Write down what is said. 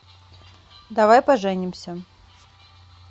давай поженимся